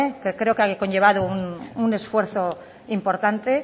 que creo que ha conllevado un esfuerzo importante